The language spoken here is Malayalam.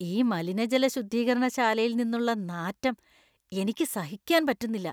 ഈ മലിനജല ശുദ്ധീകരണശാലയിൽ നിന്നുള്ള നാറ്റം എനിക്ക് സഹിക്കാൻ പറ്റുന്നില്ല.